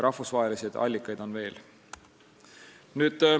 Rahvusvahelisi allikaid on ka.